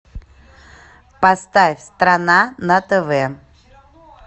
поставь страна на тв